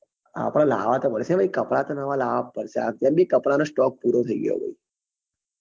આપડે લાવવા તો પડે ભાઈ કપડા તો નવા લાવવા જ પડશે એમ બી કપડા નો stock પૂરો થઇ ગયો ભાઈ